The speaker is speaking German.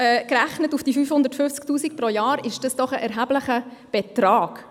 Gerechnet auf die 550 000 Franken pro Jahr ist dies doch ein erheblicher Betrag.